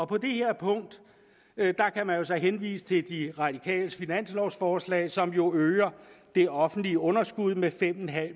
på det her punkt kan man så henvise til de radikales finanslovforslag som jo øger det offentlige underskud med fem